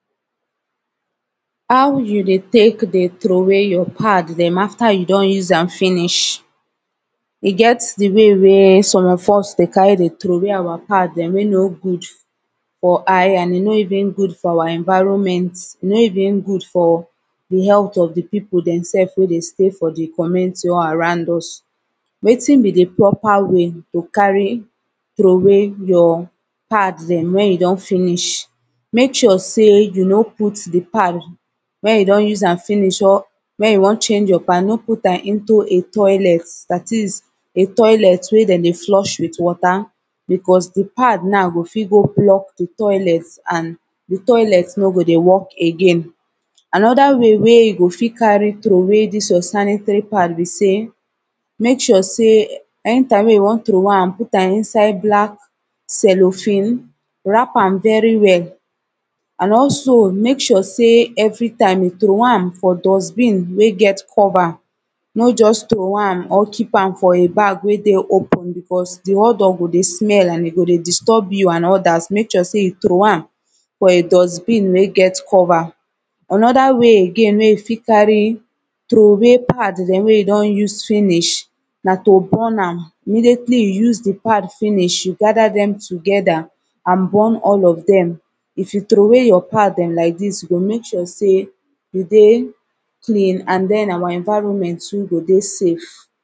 How you dey tek dey throw way your pad dem after you don use am finish e get de way wey some of us dey carry dey throw way our pad dem wey no good for eye an e no even good for our environment e no even good for de healt of de people dem sef wey dey stay for de commenty or around us wetin be de proper way to carry throway your pad dem wen you don finish mek sure say you no put de pad wen you don use am finish or Wen you wan change your pad no put am into a toilet dat is a toilet wey dem dey flush wit wata Becos de pad now go fit go block de toilet an de toilet no go dey work again anoda way wey you go fit carry throway dis your sanitary pad be say mek sure say anytime wey you wan throway am put am inside black cellophane wrap am very well an also mek sure say everytime you throway am for dustbin wey get cover no just throway am or keep am for a bag wey dey open becos de odour go dey smell an e go dey disturb you an odas mek sure say you throway am for a dustbin wey get cover anoda wey again wey you fit carry throway pad dem wey you don use finish na to burn am immediately you use de pad finish you gada dem togeda an burn all of them if you throway your pad dem like dis go make sure say you dey clean an then our environment too go dey safe